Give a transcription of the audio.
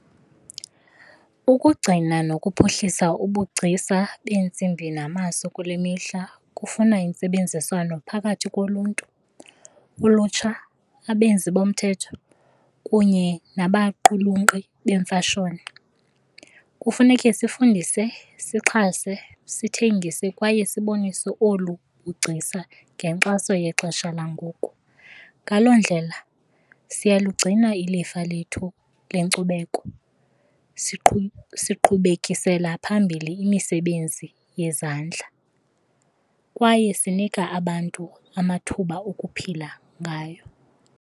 Ukugcina nokuphuhlisa ubugcisa beentsimbi namaso kule mihla kufuna intsebenziswano phakathi koluntu, ulutsha, abenzi bomthetho kunye nabaqulunqi beemfashoni. Kufuneke sifundise, sixhase, sithengise kwaye sibonise olu bugcisa ngenkxaso yexesha langoku. Ngaloo ndlela siyalugcina ilifa lethu lenkcubeko siqhubekisela phambili imisebenzi yezandla kwaye sinika abantu amathuba okuphila ngayo.